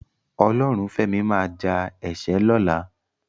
Ọlọ́runfẹ́mi máa ja ẹ̀ṣẹ́ lọ́la.